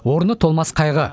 орны толмас қайғы